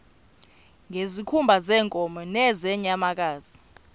ngezikhumba zeenkomo nezeenyamakazi